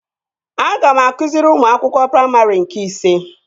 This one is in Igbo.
Aga m akụziri ụmụ akwụkwọ praimarị nke ise